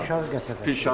Pirağa qəsəbəsi.